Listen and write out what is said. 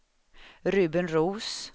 Ruben Roos